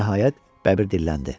Nəhayət, Bəbir dilləndi.